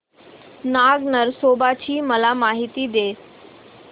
नाग नरसोबा ची मला माहिती दे